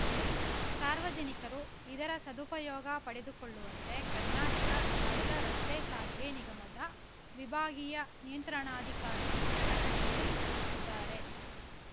ಸಾರ್ವಜನಿಕರು ಇದರ ಸದುಪಯೋಗ ಪಡೆದುಕೊಳ್ಳುವಂತೆ ಕರ್ನಾಟಕ ರಾಜ್ಯ ರಸ್ತೆ ಸಾರಿಗೆ ನಿಗಮದ ವಿಭಾಗೀಯ ನಿಯಂತ್ರಣಾಧಿಕಾರಿ ಪ್ರಕಟಣೆಯಲ್ಲಿ ತಿಳಿಸಿದ್ದಾರೆ